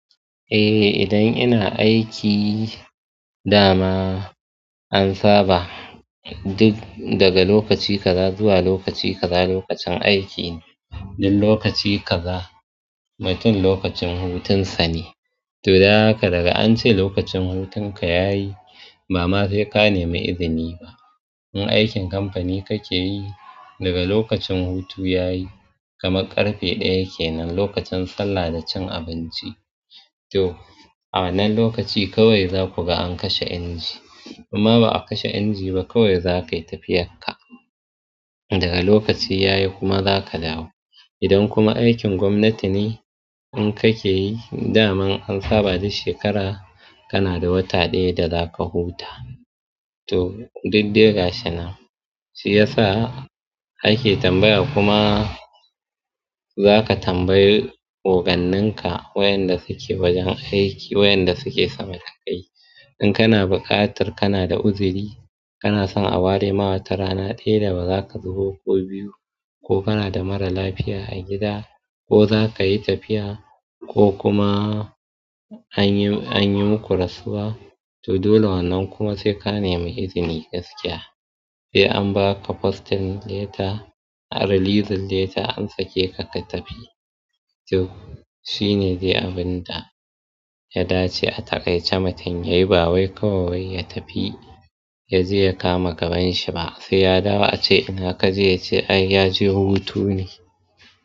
Eh, idan ina aiki da ma an saba duk daga lokaci gaza zuwa lokaci gaza lokacin aiki ne. Duk lokaci gaza, ba tun lokacin hutunsa ne. To, daga daga an ce lokacin hutun ka yayi, ba ma sai ka nemi izini ba. In aikin kamfani kake yi, daga lokacin hutu yayi, kamar ƙarfe ɗaya kenan lokacin sallah da cin abinci. To, a wannan lokaci kawai za ku ga an kashe inji. Kuma ba a kashe inji ba, kawai za ka yi tafiya ka. Daga lokaci yayi kuma za ka dawo. Idan kuma aikin gwamnati ne in kake yi, da man an saba duk shekara kana da wata ɗaya da za ka huta. To, duk diga shi na. Shi ya sa ake tambaya kuma za ka tambayi oganninka wayanda suke wajen aiki, wayanda suke sama da kai. In kana buƙatar kana da uzuri, kana son a ware ma ta rana ɗaya da ba za ka zubo ko biyu ko kana da mara lafiya a gida ko za ka yi tafiya ko kuma an yi, an yi muku rasuwa. To, dole wannan kuma sai ka nemi izini gaskiya. Sai an ba ka fostin leta, a rilizin leta an sake ka ka tafi. To, shi ne dai abin da ya dace a taƙaice mutun yayi, ba wai kawai ya tafi ya je ya kama gabanshi ba. Sai ya dawo a ce ina ka je ya ce ai ya je hutu ne.